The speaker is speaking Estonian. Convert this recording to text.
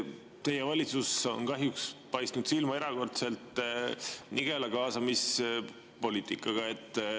Teie valitsus on kahjuks paistnud silma erakordselt nigela kaasamispoliitikaga.